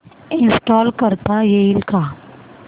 install करता येईल का